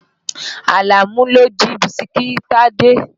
Àlàmú ló jí Bísikí Tádé.